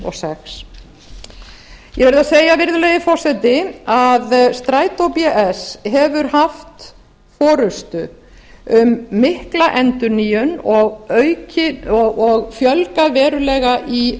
og sex eg verð að segja virðulegi forseti að strætó bs hefur haft forustu um mikla endurnýjun og fjölgað verulega í